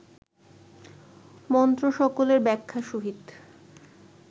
মন্ত্রসকলের ব্যাখ্যা সহিত